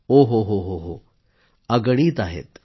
ओ हो हो हो अगणित आहेत